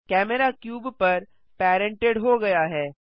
camera cube पर parented हो गया है